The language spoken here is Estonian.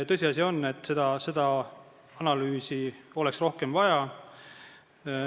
Tõsiasi on, et seda analüüsi oleks rohkem vaja.